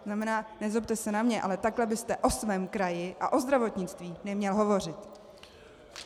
To znamená, nezlobte se na mě, ale takhle byste o svém kraji a o zdravotnictví neměl hovořit.